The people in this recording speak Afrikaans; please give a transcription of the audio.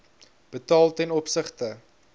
betaal ten opsigte